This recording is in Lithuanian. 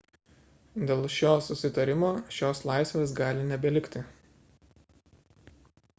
dėl šio susitarimo šios laisvės gali nebelikti